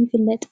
ይፍለጥ?